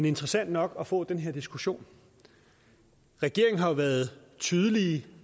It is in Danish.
interessant nok at få den her diskussion regeringen har jo været tydelig